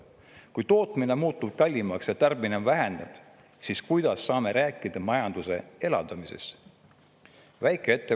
Kui tootmine muutub kallimaks ja tarbimine on vähenenud, siis kuidas saame rääkida majanduse elavdamisest?